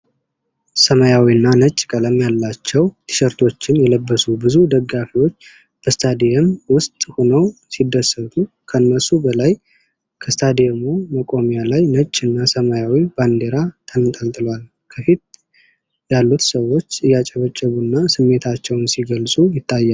ሰማያዊና ነጭ ቀለም ያላቸው ቲሸርቶችን የለበሱ ብዙ ደጋፊዎች በስታዲየም ውስጥ ሆነው ሲደሰቱ ። ከነሱ በላይ ከስታዲየሙ መቆሚያ ላይ ነጭ እና ሰማያዊ ባንዲራ ተንጠልጥሏል። ከፊት ያሉት ሰዎች እያጨበጨቡ እና ስሜታቸውን ሲገልጹ ይታያል።